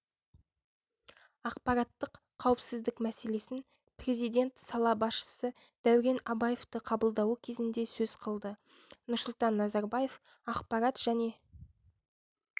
ақпараттық қауіпсіздік мәселесін президент сала басшысы дәурен абаевты қабылдауы кезінде сөз қылды нұрсұлтан назарбаев ақпарат және